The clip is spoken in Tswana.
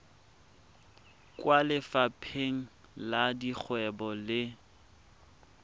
kwa lefapheng la dikgwebo le